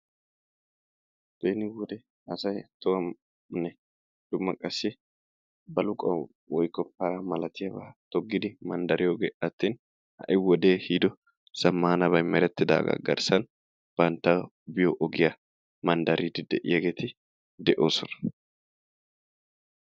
Beni wode asay tohuwaninne dumma qassi baluquwan woykko para malatiyaba toggidi manddariyogee attin ha"i wodee ehiido zammaanabay merettidaaga garssan bantta biyo ogiya manddariddi de"iyageeti de'oosona.